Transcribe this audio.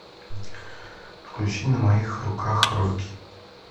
включи на моих руках роки